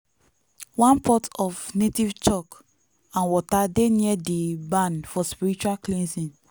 one pot of native chalk and water dey near di barn for spiritual cleansing.